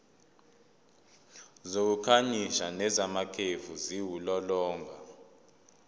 zokukhanyisa nezamakhefu ziwulolonga